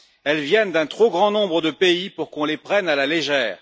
Elles viennent d'un trop grand nombre de pays pour qu'on les prenne à la légère.